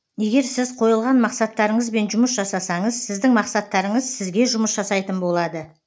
егер сіз қойылған мақсаттарыңызбен жұмыс жасасаңыз сіздің мақсаттарыңыз сізге жұмыс жасайтын болады